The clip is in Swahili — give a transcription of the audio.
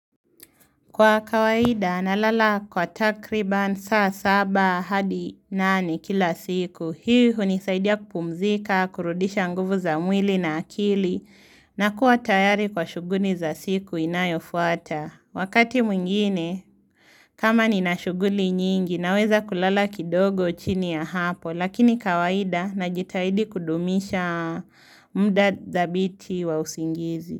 Kwa kawaida, nalala kwa takriban saa saba hadi nani kila siku. Hii hunisaidia kupumzika, kurudisha nguvu za mwili na akili, na kuwa tayari kwa shuguni za siku inayofuata. Wakati mwingine, kama nina shughuli nyingi, naweza kulala kidogo chini ya hapo, lakini kawaida najitahidi kudumisha muda dhabiti wa usingizi.